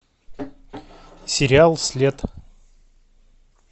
сериал след